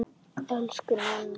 Elsku Nanna.